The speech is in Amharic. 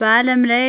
በዓለም ላይ